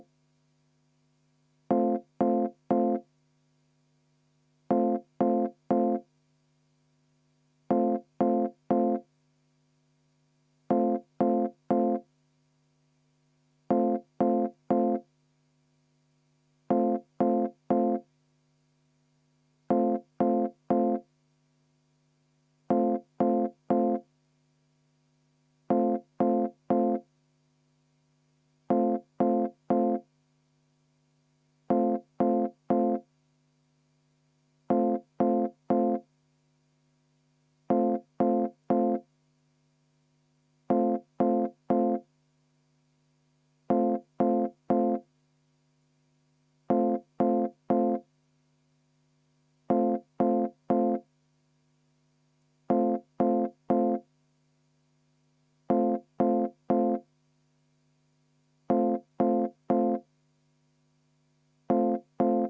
V a h e a e g